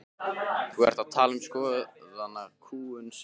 Þú ert að tala um skoðanakúgun sem er annað mál.